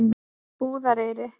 Búðareyri